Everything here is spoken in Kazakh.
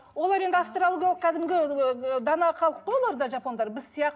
олар енді кәдімгі ыыы дана халық қой олар да жапондар біз